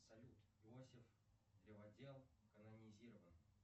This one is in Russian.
салют иосиф древодел канонизирован